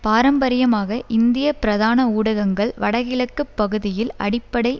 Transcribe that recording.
பாரம்பரியமாக இந்திய பிரதான ஊடகங்கள் வடகிழக்கு பகுதியில் அடிப்படை